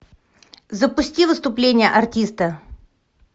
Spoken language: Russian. запусти выступление артиста